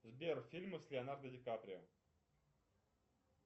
сбер фильмы с леонардо ди каприо